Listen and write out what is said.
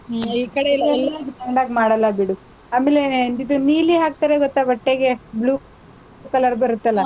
ಹ್ಮ್ ಈ ಕಡೆಯೆಲ್ಲಾ ಮಾಡಲ್ಲ ಬಿಡು. ಆಮೇಲೆ ಇದು ನೀಲಿ ಹಾಕ್ತಾರೆ ಗೊತ್ತಾ ಬಟ್ಟೆಗೆ, blue color ಬರತ್ತಲ್ಲ,